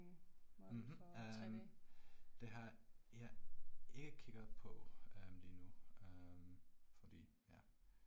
Mh øh, det har jeg ikke kigget på øh endnu øh fordi ja